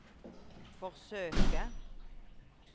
forsøke